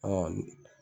Ɔ